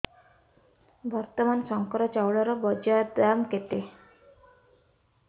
ବର୍ତ୍ତମାନ ଶଙ୍କର ଚାଉଳର ବଜାର ଦାମ୍ କେତେ